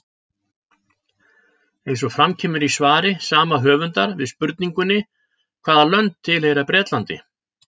Eins og fram kemur í svari sama höfundar við spurningunni Hvaða lönd tilheyra Bretlandi?